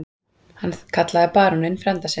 Hann kallaði baróninn frænda sinn.